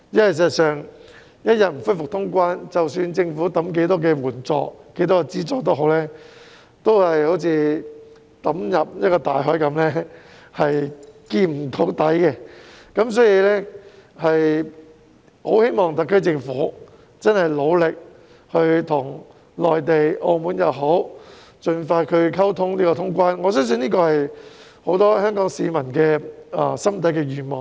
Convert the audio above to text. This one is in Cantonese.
事實上，一天不恢復通關，無論政府派發多少援助、資助也好，都只會好像把錢投進深不見底的大海一樣，所以，我很希望特區政府努力就通關事宜與內地和澳門盡快溝通，我相信這是很多香港市民心底的願望。